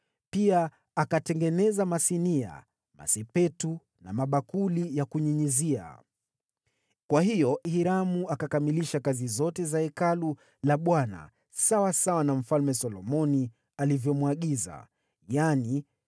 Pia akatengeneza masinia, masepetu na mabakuli ya kunyunyizia. Kwa hiyo Huramu akakamilisha kazi zote katika Hekalu la Bwana kama vile Mfalme Solomoni alikuwa amemwagiza, yaani: